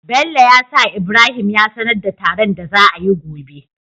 Bello ya sa ibrahim ya sanar da taron da za ayi gobe